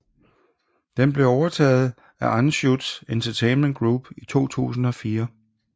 Den blev overtaget af Anschutz Entertainment Group i 2004